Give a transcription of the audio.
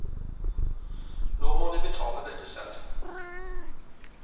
Nå må de betale dette selv.